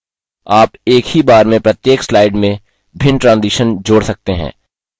आप एक ही बार में प्रत्येक slide में भिन्न transitions जोड़ सकते हैं